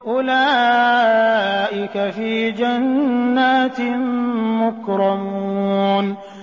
أُولَٰئِكَ فِي جَنَّاتٍ مُّكْرَمُونَ